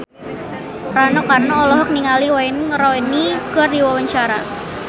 Rano Karno olohok ningali Wayne Rooney keur diwawancara